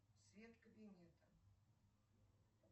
свет кабинета